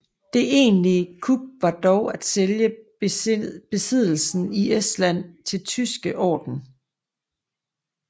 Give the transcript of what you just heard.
Det egentlige kup var dog at sælge besiddelsen i Estland til Den tyske Orden